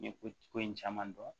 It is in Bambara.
N ye ko in caman dɔn